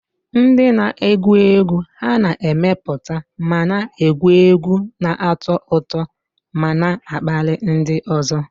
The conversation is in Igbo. Ndị na-egwu egwu ha na-emepụta ma na-egwu egwu, na-atọ ụtọ ma na-akpali ndị ọzọ.